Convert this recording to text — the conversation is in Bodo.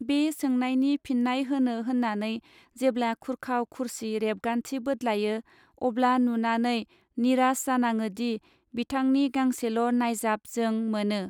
बे सोंनायनि फिननाय होनो होननानै जेब्ला खुरखाव खुरसि रेबगान्थि बोदलायो अब्ला नुनानै निराष जानाडोदि बिथांनि गांसेल नायजाब जों मोनो.